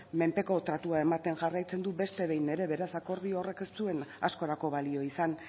menpeko tratua ematen jarraitzen du beste behin ere beraz akordio horrek ez zuen askorako balio izan